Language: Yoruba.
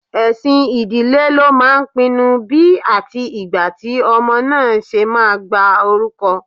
Ẹ̀sìn ìdílé ló máà ń pinnú bí atí igbá tí ọmọ náà ṣe máa gba orúkọ.